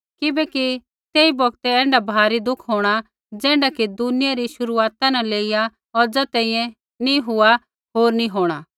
किबैकि तेई बौगतै ऐण्ढा भारी दुख होंणा ज़ैण्ढा कि दुनिया री शुरूआता न लेइया औज़ा तैंईंयैं नी हुआ होर नी होंणा